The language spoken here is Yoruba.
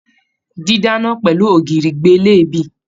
Didana pẹlú ògiri gbé leebí.